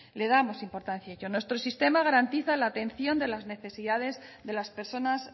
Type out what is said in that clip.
le damos importancia a ello y nuestro sistema garantiza la atención de las necesidades de las personas